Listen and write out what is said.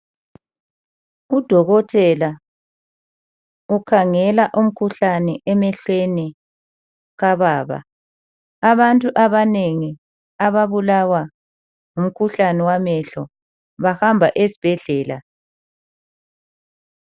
Udokotela ukhangela umkhuhlane emehlweni kababa , abantu abanengi ababulawa ngumkhuhlane wamehlo bahamba esibhedlela